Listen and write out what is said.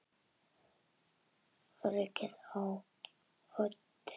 Öryggið á oddinn!